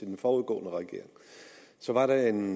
den foregående regering så var der en